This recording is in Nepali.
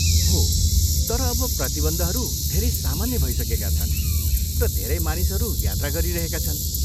हो, तर अब प्रतिबन्धहरू धेरै सामान्य भइसकेका छन् र धेरै मानिसहरू यात्रा गरिरहेका छन्।